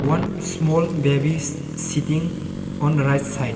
One small baby is sitting on right side.